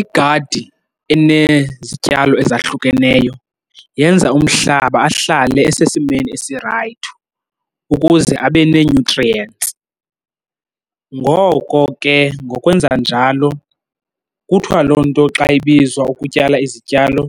Igadi enezityalo ezahlukeneyo yenza umhlaba ahlale isesimeni esirayithi ukuze abe nee-nutrients, ngoko ke ngokwenza njalo kuthiwa loo nto xa ibizwa ukutyala izityalo